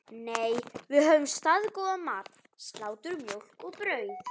Nei, við höfðum staðgóðan mat: Slátur, mjólk og brauð.